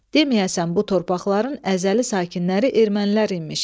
Deməyəsən bu torpaqların əzəli sakinləri ermənilər imiş.